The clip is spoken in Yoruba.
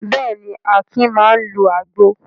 Bẹ́ẹ̀ ni, Akin máa ń lo àgbo.